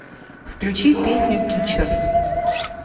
включи песню кичер